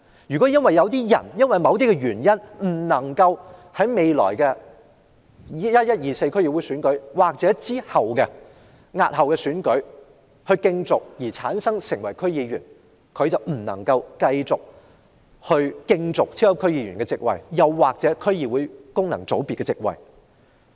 如果有人因為某些原因而未能在11月24日的區議會選舉或押後的選舉中競逐成為區議員，他便不能夠繼續競逐超級區議員或區議會功能界別的席位。